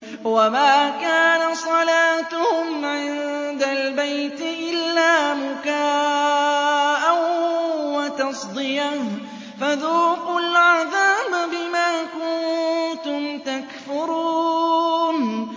وَمَا كَانَ صَلَاتُهُمْ عِندَ الْبَيْتِ إِلَّا مُكَاءً وَتَصْدِيَةً ۚ فَذُوقُوا الْعَذَابَ بِمَا كُنتُمْ تَكْفُرُونَ